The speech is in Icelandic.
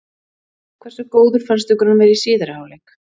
Hversu góður fannst ykkur hann vera í síðari hálfleik?